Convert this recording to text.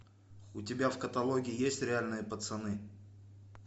у тебя в каталоге есть реальные пацаны